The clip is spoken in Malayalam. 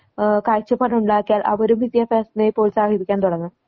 ആഹ് കാഴ്ചപ്പാടുണ്ടാക്കിയാൽ അവരും വിദ്യാഭ്യാസത്തിനെ പ്രോത്സാഹിപ്പിക്കാൻ തുടങ്ങും.